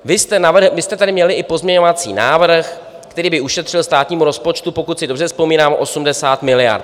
Vy jste tady měli i pozměňovací návrh, který by ušetřil státnímu rozpočtu, pokud si dobře vzpomínám, 80 miliard.